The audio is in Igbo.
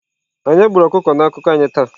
Onye gburu ọkụkọ na akụkọ anyị taa?